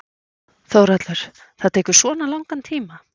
Þórhallur: Hvað tekur svona langan tíma?